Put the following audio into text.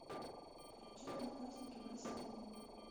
включи одноклассники вася обломов